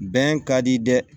Bɛn ka di dɛ